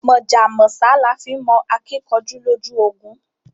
Mọ̀jà mọ̀sá là fi nmọ akíkanjú lójú ogun